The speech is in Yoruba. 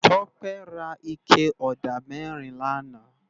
Tope rá iké ódá mèrín làná